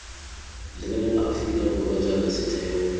lebelela aforika borwa jaaka setheo